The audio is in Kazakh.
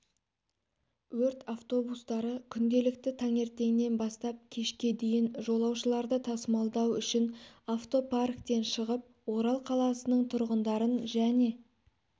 өрт автобустары күнделікті таңертеңнен бастап кешке дейін жолаушыларды тасымалдау үшін автопарктен шығып орал қаласының тұрғындарын және